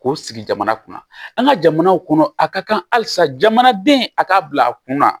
K'o sigi jamana kunna an ka jamanaw kɔnɔ a ka kan halisa jamanaden a k'a bila kunna